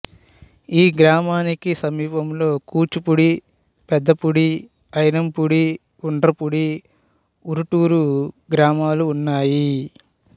ఈ గ్రామానికి సమీపంలో కూచిపూడి పెదపూడి ఐనంపూడి ఉండ్రపూడి ఉరుటూరు గ్రామాలు ఉన్నాయి